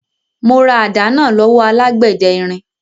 Mo ra àdá náà lọ́wọ́ alágbẹ̀dẹ irin.